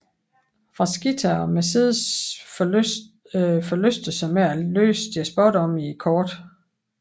Frasquita og Mercedes forlyster sig med at læse deres spådomme i kortene